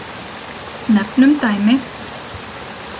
Nefnum dæmi.